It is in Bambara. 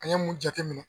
An ye mun jateminɛ